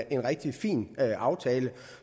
en rigtig fin aftale